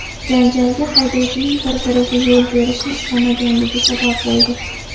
Janjalga haydovchilarning bir-biriga yo‘l berishni istamaganligi sabab bo‘ldi.